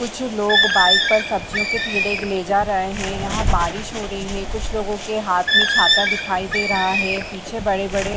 कुछ लोग बाइक पर सब्जियों के थैले ले जा रहे हैं। यहाँ बारिश हो रही है। कुछ लोगों के हाथ में छाता दिखाई दे रहा है। पीछे बड़े-बड़े --